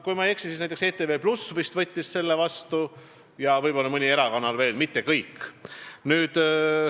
Kui ma ei eksi, siis ETV+ võttis selle ettepaneku vastu ja võib-olla mõni erakanal veel, mitte kõik.